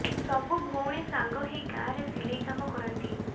ସବୁ ଭଉଣୀ ସାଙ୍ଗ ହେଇ ଗାଁ ରେ ସିଲେଇ କାମ କରନ୍ତି